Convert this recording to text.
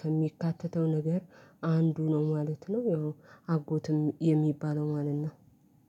ከሚካተተው ነገር አንዱ ነው ማለት ነው። ያው አጎትም የሚባለው ማለት ነው።